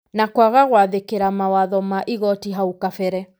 na kwaga gwathĩkĩra mawatho ma igooti hau kabere.